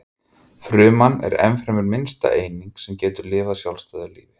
Fruman er ennfremur minnsta eining sem getur lifað sjálfstæðu lífi.